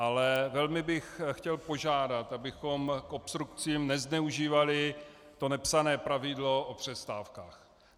Ale velmi bych chtěl požádat, abychom k obstrukcím nezneužívali to nepsané pravidlo o přestávkách.